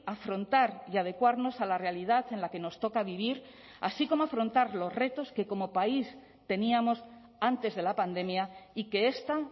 afrontar y adecuarnos a la realidad en la que nos toca vivir así como afrontar los retos que como país teníamos antes de la pandemia y que esta